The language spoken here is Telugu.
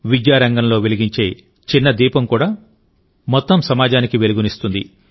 విద్యారంగంలో వెలిగించే చిన్న దీపం కూడా మొత్తం సమాజానికి వెలుగునిస్తుంది